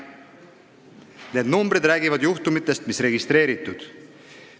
Ja need arvud räägivad juhtumitest, mis on registreeritud.